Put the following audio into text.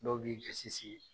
Dɔw b'i gasi sigi.